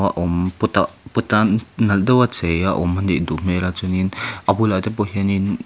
a awm pot ah pot a nalh deuh a chei a awm a nih duh hmel a chuan in a bulah te pawh hian in--